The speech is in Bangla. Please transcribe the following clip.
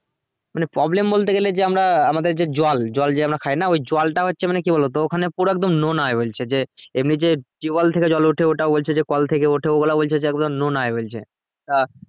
মানে problem বলতে গেলে যে আমরা আমাদের যে জল জল যে আমরা খাই না ওই জলটা হচ্ছে মানে কি বলবো ওখানে পুরো একদম নোনা বলছে যে এমনি যে tubewell থেকে জল ওঠে ওটাও বলছে যে কল থেকে ওঠে ওরা বলছে যে একদম নোনা ইয়ে বলছে তা